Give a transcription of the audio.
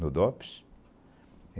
No Dops?